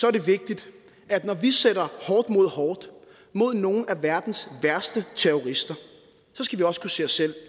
er det vigtigt at når vi sætter hårdt mod hårdt mod nogen af verdens værste terrorister skal vi også kunne se os selv